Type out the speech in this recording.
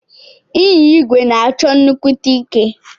Inya igwe na achọ nnukwute ike.